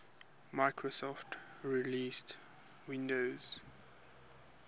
microsoft released windows